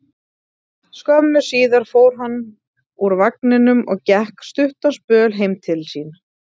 Skömmu síðar fór hann úr vagninum og gekk stuttan spöl heim til sín.